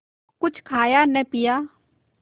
कुछ खाया न पिया